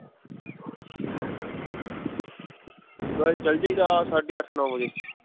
ਬਸ ਚਲ ਜਾਈਦਾ ਸਾਢੇ ਅੱਠ ਨੌ ਵਜੇ